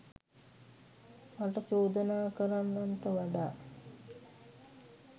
මට චෝදනා කරන්නන්ට වඩා